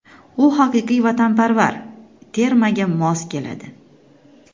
U haqiqiy vatanparvar, termaga mos keladi.